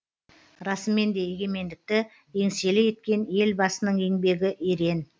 расымен де егемендікті еңселі еткен елбасының еңбегі ерен